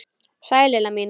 Sæl Lilla mín!